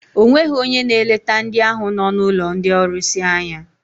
O nweghị onye na-eleta ndị ahụ nọ n'ụlọ ndị ọrụsị anya.